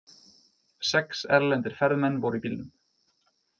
Sex erlendir ferðamenn voru í bílnum